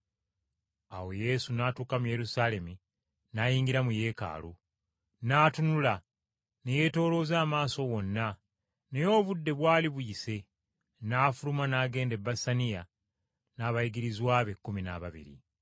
Awo Yesu n’atuuka mu Yerusaalemi, n’ayingira mu Yeekaalu. N’atunula, ne yeetoolooza amaaso wonna, naye obudde bwali buyise, n’afuluma n’agenda e Besaniya n’abayigirizwa be ekkumi n’ababiri.